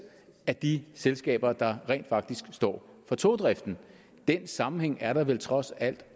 af de selskaber der rent faktisk står for togdriften den sammenhæng er der vel trods alt